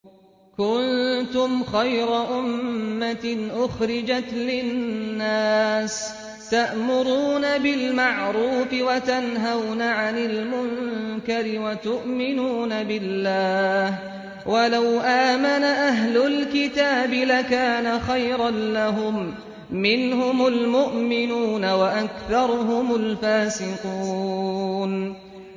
كُنتُمْ خَيْرَ أُمَّةٍ أُخْرِجَتْ لِلنَّاسِ تَأْمُرُونَ بِالْمَعْرُوفِ وَتَنْهَوْنَ عَنِ الْمُنكَرِ وَتُؤْمِنُونَ بِاللَّهِ ۗ وَلَوْ آمَنَ أَهْلُ الْكِتَابِ لَكَانَ خَيْرًا لَّهُم ۚ مِّنْهُمُ الْمُؤْمِنُونَ وَأَكْثَرُهُمُ الْفَاسِقُونَ